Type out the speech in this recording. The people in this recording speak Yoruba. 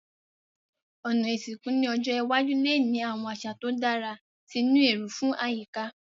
Òná ìsìnkú ni ọjọ́ iwájú le ni àwon àsà to dára ti ni éró fun àyíká